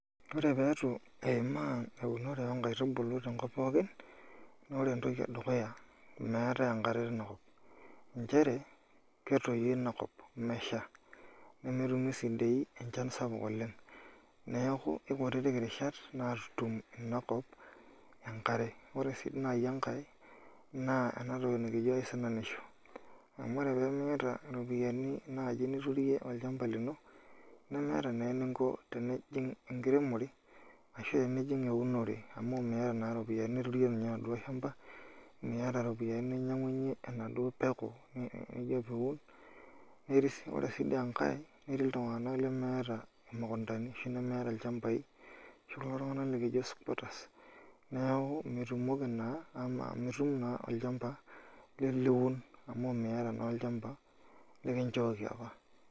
Ore peitu eimaa eunore oonkaitubulu tenkop pookin naa ore entoki edukuya meetai enkare tina kop nchere ketoyio inakop mesha nemetumi enchan saapuk oleng' neeku kekutitik irishat naatum inakop enkare, ore sii naai enkai naa enatoki nikijo ake aisinanisho amu ore pee miata iropiyiani ake naaji niturie olchamba lino nemeeta naa eninko tenijing' enkiremore arashu enijing eunore amu mkiata naa iropiyiani niturie ninye oladuo shamba, miata iropiyiani ninyiang'unyie enaduo peku nijo pee iun. Ore sii de enkae netii iltung'anak lemeeta imukundani ashu lemeeta ilchambai kulo tung'anak likijo squaters neeku metumoki naa amu mitum naa olchamba liun amu miata naa olchamba likinchooki apa.